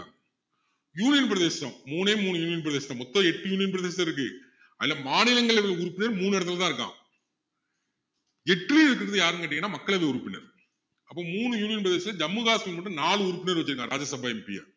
union பிரதேசம் மூனே மூணு union பிரதேசம் மொத்தம் எட்டு union பிரதேசம் இருக்கு அதுல மாநிலங்களவை உறுப்பினர் மூணு இடத்துல தான் இருக்கான் எட்டுலயும் இருக்கிறது யாருன்னு கேட்டீங்கன்னா மக்களவை உறுப்பினர் அப்போ மூணு union பிரதேசத்துல ஜம்மு காஷ்மீர் மட்டும் நாலு உறுப்பினர் வச்சிருக்காங்க ராஜ்ய சபை MP ஆ